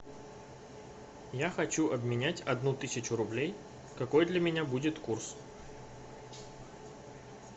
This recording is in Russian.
я хочу обменять одну тысячу рублей какой для меня будет курс